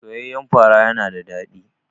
Soyayyan fara yana da daɗi.